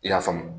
I y'a faamu